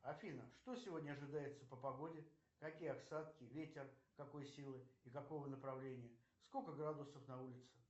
афина что сегодня ожидается по погоде какие осадки ветер какой силы и какого направления сколько градусов на улице